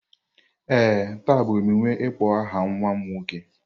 Ee, taa bụ emume ịkpọ aha nwa m nwoke.